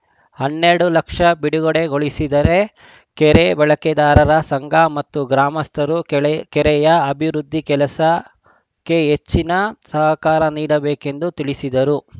ಹನ್ನೆರಡು ಲಕ್ಷ ಬಿಡುಗಡೆ ಗೊಳಿಸಿದೆ ಕೆರೆ ಬಳಕೆದಾರರ ಸಂಘ ಮತ್ತು ಗ್ರಾಮಸ್ಥರು ಕೆಳೆ ಕೆರೆಯ ಅಭಿವೃದ್ಧಿ ಕೆಲಸಕ್ಕೆ ಹೆಚ್ಚಿನ ಸಹಕಾರ ನೀಡಬೇಕೆಂದು ತಿಳಿಸಿದರು